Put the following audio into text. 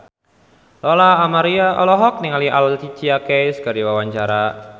Lola Amaria olohok ningali Alicia Keys keur diwawancara